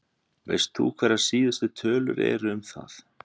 Veist þú hverjar síðustu tölur eru um það?